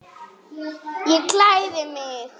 Ég klæði mig.